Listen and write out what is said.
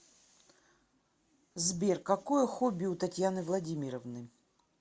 сбер какое хобби у татьяны владимировны